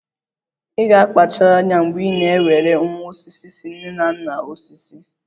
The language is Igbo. Ị ga-akpachara anya mgbe ị na-ewere nwa osisi si nne na nna osisi!